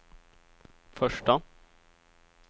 första